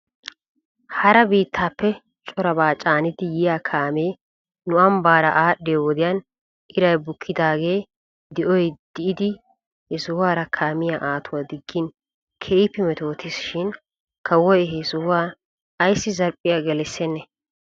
Hara biittappe corabaa caanidi yiyaa kaamee nu ambbaara aadhdhiyoo wodiyan iray bukkidaagee di'oy di'idi he sohuwaara kaamiyaa aatuwaa diggin keehippe metootis shin kawoy he sohuwan ayssi zarphphiyaa gelissennee?